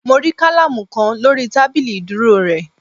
Mo rí kálámù kan lórí tábìlì ìdúró re